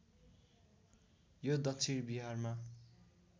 यो दक्षिण बिहारमा